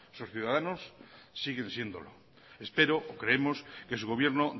sus ciudadanos siguen siéndolo espero o creemos que su gobierno